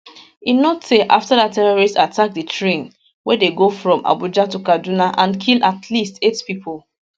e no tey afta dat terrorists attack di train wey dey go from abuja to kaduna and kill at least eight pipo